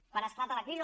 quan esclata la crisi